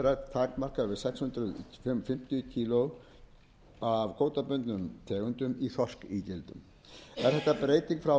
takmarkaður við sex hundruð fimmtíu kílógramm af kvótabundnum tegundum í þorskígildum er þetta breyting frá